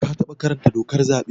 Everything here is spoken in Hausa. Ka taɓa karanta dokar zaɓe?